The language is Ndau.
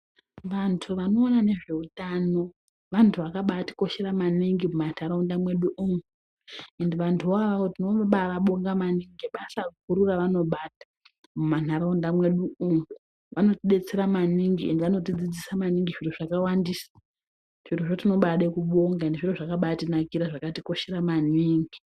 Vantu vanoona nezveutano , vantu vakabaa tikoshera maningi mumandaraunda mwedu umwo ende vantu ivavo tinobaa vabonga maningi ngebasa guru ravanobata mumandaraunda mwedu umwo, vanotidetsera maningi ende vanotidzidzisa maningi zviro zvakawandisa, zviro zvoo tinobaide kubonga zviro zvakatinakira ende zvakatikoshera maningi.